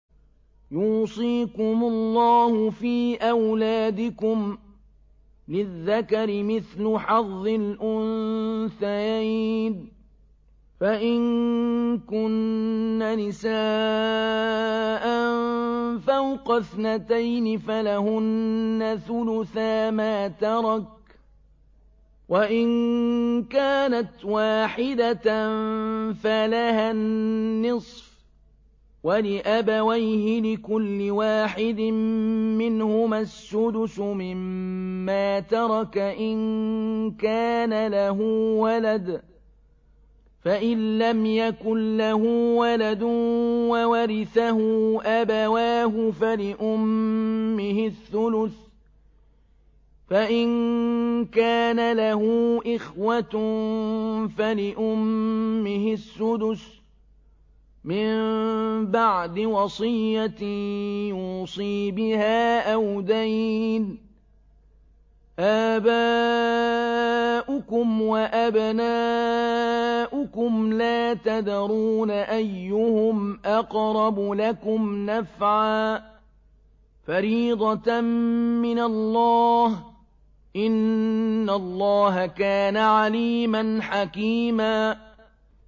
يُوصِيكُمُ اللَّهُ فِي أَوْلَادِكُمْ ۖ لِلذَّكَرِ مِثْلُ حَظِّ الْأُنثَيَيْنِ ۚ فَإِن كُنَّ نِسَاءً فَوْقَ اثْنَتَيْنِ فَلَهُنَّ ثُلُثَا مَا تَرَكَ ۖ وَإِن كَانَتْ وَاحِدَةً فَلَهَا النِّصْفُ ۚ وَلِأَبَوَيْهِ لِكُلِّ وَاحِدٍ مِّنْهُمَا السُّدُسُ مِمَّا تَرَكَ إِن كَانَ لَهُ وَلَدٌ ۚ فَإِن لَّمْ يَكُن لَّهُ وَلَدٌ وَوَرِثَهُ أَبَوَاهُ فَلِأُمِّهِ الثُّلُثُ ۚ فَإِن كَانَ لَهُ إِخْوَةٌ فَلِأُمِّهِ السُّدُسُ ۚ مِن بَعْدِ وَصِيَّةٍ يُوصِي بِهَا أَوْ دَيْنٍ ۗ آبَاؤُكُمْ وَأَبْنَاؤُكُمْ لَا تَدْرُونَ أَيُّهُمْ أَقْرَبُ لَكُمْ نَفْعًا ۚ فَرِيضَةً مِّنَ اللَّهِ ۗ إِنَّ اللَّهَ كَانَ عَلِيمًا حَكِيمًا